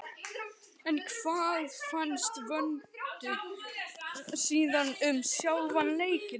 En hvað fannst Vöndu síðan um sjálfan leikinn?